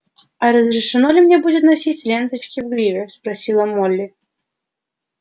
а разрешено ли мне будет носить ленточки в гриве спросила молли